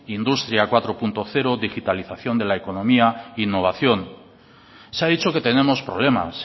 industria cuatro punto cero digitalización de la economía innovación se ha dicho que tenemos problemas